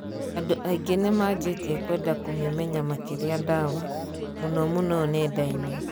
Andũ ainge nimaanjtie kwenda kũmimenya makiria dawa, mũno mũno neda-ini.